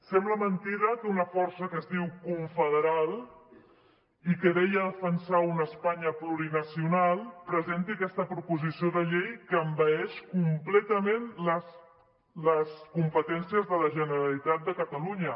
sembla mentida que una força que es diu confederal i que deia defensar una espanya plurinacional presenti aquesta proposició de llei que envaeix completament les competències de la generalitat de catalunya